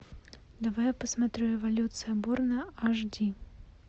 давай я посмотрю эволюция борна аш ди